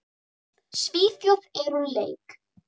Svíþjóð er úr leik.